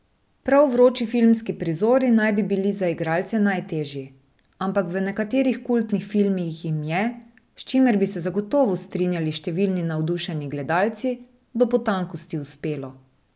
Prav vroči filmski prizori naj bi bili za igralce najtežji, ampak v nekaterih kultnih filmih jim je, s čimer bi se zagotovo strinjali številni navdušeni gledalci, do potankosti uspelo.